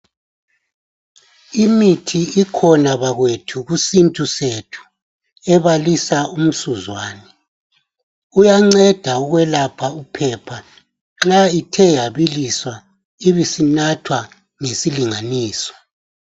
Imithi ikhona bakwethu kusintu sethu ebalisa umsuzwane. Uyanceda ukwelapha iphepha nxa ithe yabiliswa ibisinathwa ngesilunganiso.